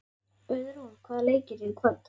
Auðrún, hvaða leikir eru í kvöld?